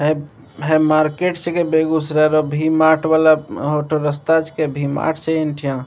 है हई मार्केट छिके बेगुसराय वला वी मार्ट वला एहु ठा रास्ता छिके वी मार्ट छै ए ठा।